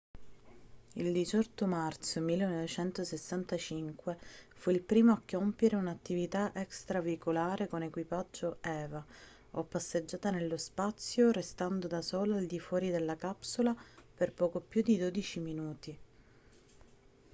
il 18 marzo 1965 fu il primo a compiere un'attività extraveicolare con equipaggio eva o passeggiata nello spazio restando da solo al di fuori della capsula per poco più di dodici minuti